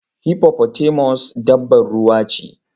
Hippotamus dabba ruwa ce